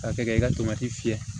Ka kɛ ka i ka fiyɛ